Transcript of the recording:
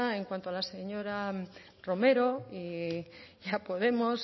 en cuanto la señora romero y a podemos